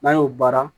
N'an y'o baara